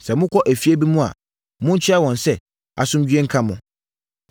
Sɛ mokɔ efie bi mu a, monkyea wɔn sɛ, ‘Asomdwoeɛ nka mo!’